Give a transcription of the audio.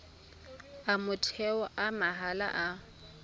a motheo a mahala a